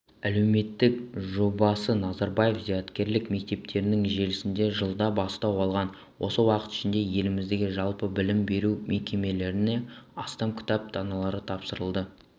әлеуметтік жобасыназарбаев зияткерлік мектептерінің желісінде жылда бастау алған осы уақыт ішінде еліміздегі жалпы білім беру мекемелеріне астам кітап даналары тапсырылды